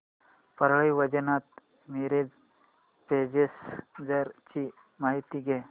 Parli Vaijnath Miraj passenger ची माहिती द्या